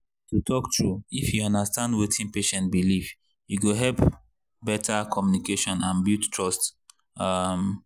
to talk true if you understand wetin patient believe e go help better communication and build trust. um